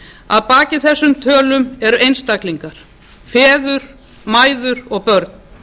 að baki þessum tölum eru einstaklingar feður mæður og börn